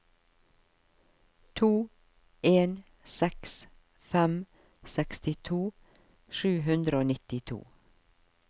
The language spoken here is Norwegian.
to en seks fem sekstito sju hundre og nittito